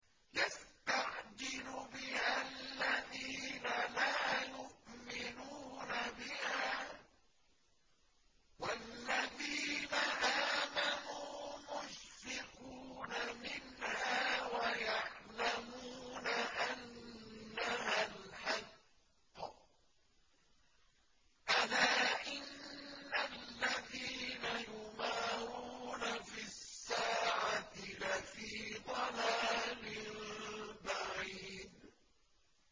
يَسْتَعْجِلُ بِهَا الَّذِينَ لَا يُؤْمِنُونَ بِهَا ۖ وَالَّذِينَ آمَنُوا مُشْفِقُونَ مِنْهَا وَيَعْلَمُونَ أَنَّهَا الْحَقُّ ۗ أَلَا إِنَّ الَّذِينَ يُمَارُونَ فِي السَّاعَةِ لَفِي ضَلَالٍ بَعِيدٍ